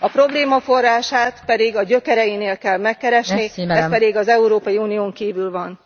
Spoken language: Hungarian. A probléma forrását pedig a gyökereinél kell megkeresni, ez pedig az Európai Unión kívül van.